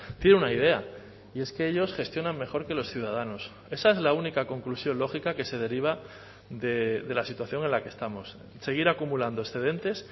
tiene una idea y es que ellos gestionan mejor que los ciudadanos esa es la única conclusión lógica que se deriva de la situación en la que estamos seguir acumulando excedentes